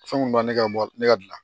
Fɛn mun b'ale ka ne ka